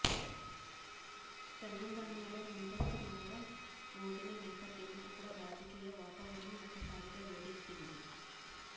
తెలంగాణలో ముందస్తు నగారా మోగిన నేపథ్యంలో అక్కడ రాజకీయ వాతావరణం ఒక్కసారిగా వేడెక్కింది